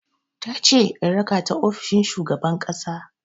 Tace in raka ta ofishin shugaban ƙasa.